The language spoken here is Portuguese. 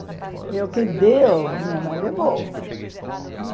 E o que deu, minha mãe levou.